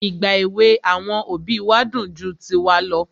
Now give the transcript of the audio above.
Ìgbà èwè àwọn òbí wa dùn ju tiwa lọ.